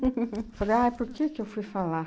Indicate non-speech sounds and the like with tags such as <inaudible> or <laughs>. <laughs> Falei, ah, por que que eu fui falar?